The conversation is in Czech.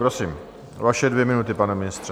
Prosím, vaše dvě minuty, pane ministře.